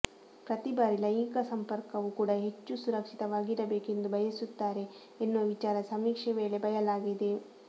ಪ್ರತೀ ಬಾರಿ ಲೈಂಗಿಕ ಸಂಪರ್ಕವೂ ಕೂಡ ಹೆಚ್ಚು ಸುರಕ್ಷಿತವಾಗಿರಬೇಕು ಎಂದು ಬಯಸುತ್ತಾರೆ ಎನ್ನುವ ವಿಚಾರ ಸಮೀಕ್ಷೆ ವೇಳೆ ಬಯಲಾಗಿದೆ